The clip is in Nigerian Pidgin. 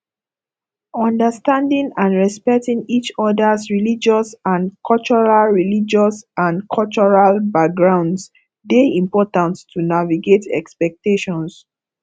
understanding and respecting each others religious and cultural religious and cultural backgrounds dey important to navigate expectations